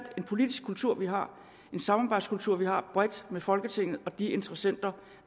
en politisk kultur vi har en samarbejdskultur vi har bredt i folketinget og med de interessenter